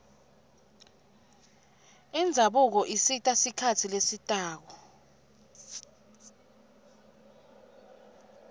indzabuko isita sikhatsi lesitako